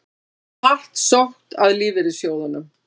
Hart sótt að lífeyrissjóðunum